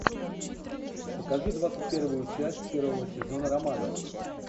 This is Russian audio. покажи двадцать первую часть первого сезона романовых